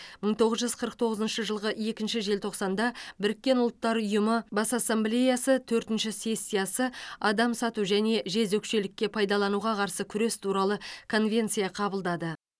мың тоғыз жүз қырық тоғызыншы жылғы екінші желтоқсанда біріккен ұлттар ұйымы бас ассамблеясы төртінші сессиясы адам сату және жезөкшелікке пайдалануға қарсы күрес туралы конвенция қабылдады